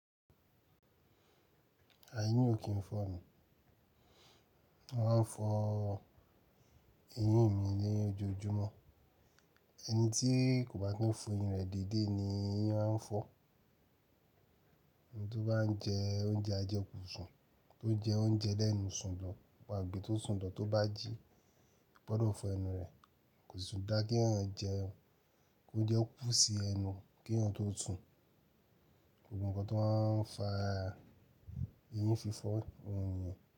Àíyín ò kín ń fọ́nu. Wọ́n máa ń fọ ẹyín mi léyìn ojoojúmọ́. Ẹni tí kò bá tún fọ ẹyín rẹ̀ déédé ni eyín máa ń fọ́. Ẹni tó bá ń jẹ oúnjẹ ajẹkùnsùn, tó jẹ oúnjẹ lẹ́nu sùn lọ wà á gbe tó sùn dán tó bá jí, ó gbọ́dọ̀ fọ ẹnu rẹ̀. Kò sì tún dá kí èèyàn jẹ oúnjẹ ó kú sí ẹnu kí èèyàn tó sùn. Ó gbọ̀nkan tó máa ń fa ẹyín fi fọ́ ẹniyan.